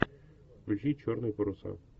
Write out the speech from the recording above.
включи черные паруса